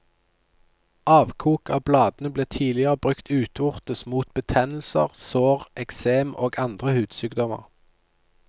Avkok av bladene ble tidligere brukt utvortes mot betennelser, sår, eksem og andre hudsykdommer.